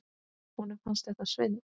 Honum fannst þetta svindl.